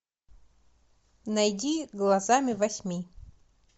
найди глазами восьми